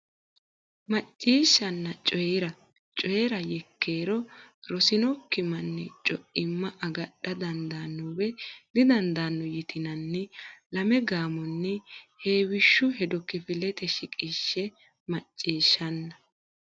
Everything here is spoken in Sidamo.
Macciishshanna Coy ira Coy ira Yekkeero Rosinokki manni co imma agadha dandaanno woy didandaano yitinanni lame gaamonni heewishshu hedo kifilete shiqishshe Macciishshanna.